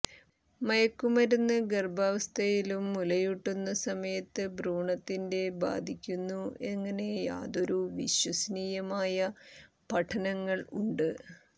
മയക്കുമരുന്ന് ഗർഭാവസ്ഥയിലും മുലയൂട്ടുന്ന സമയത്ത് ഭ്രൂണത്തിന്റെ ബാധിക്കുന്നു എങ്ങനെ യാതൊരു വിശ്വസനീയമായ പഠനങ്ങൾ ഉണ്ട്